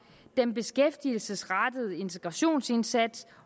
den beskæftigelsesrettede integrationsindsats